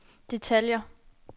detaljer